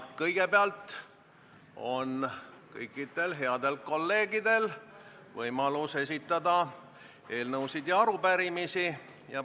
Kõigepealt on kõikidel headel kolleegidel võimalus esitada eelnõusid ja arupärimisi.